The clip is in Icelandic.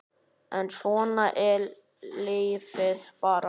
En svona er lífið bara.